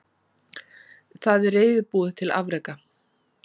Það er reiðubúið til afreka.